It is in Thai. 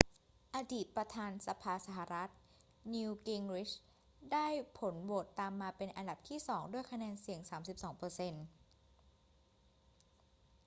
อดีตประธานสภาสหรัฐ newt gingrich ได้ผลโหวตตามมาเป็นอันดับที่สองด้วยคะแนนเสียง 32 เปอร์เซ็นต์